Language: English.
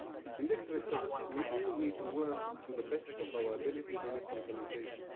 In this respect, we all need to work to the best of our abilities on its implementation.